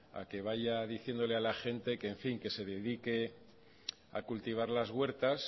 a que vaya diciéndole a la gente que se dedique a cultivar las huertas